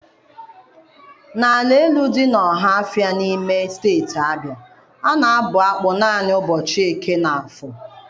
N'ala Elu dị n'Ọhafịa, n'ime Steeti Abịa, a na-abụ akpụ naanị n'ụbọchị Eke na Afọ.